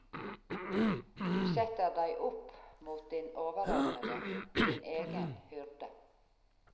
Du setter deg opp mot din overordnede, din egen hyrde.